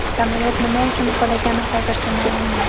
Samolyot nima uchun qulagani hozircha ma’lum emas.